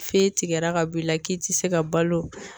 Fe tigɛra ka b'i la k'i ti se ka balo